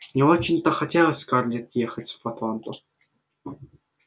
не очень-то хотелось скарлетт ехать в атланту